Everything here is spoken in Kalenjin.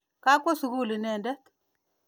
Kakwo sukul inendet.